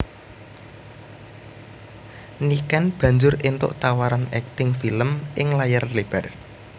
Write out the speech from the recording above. Niken banjur éntuk tawaran akting film ing layar lebar